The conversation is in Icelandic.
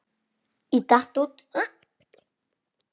Ég datt út.